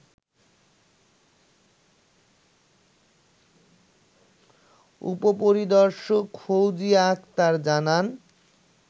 উপ-পরিদর্শক ফৌজিয়া আক্তার জানান